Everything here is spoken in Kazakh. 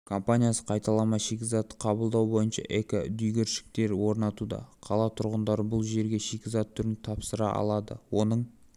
компаниясы қайталама шикізатты қабылдау бойынша эко-дүңгіршектер орнатуда қала тұрғындары бұл жерге шикізат түрін тапсыра алады оның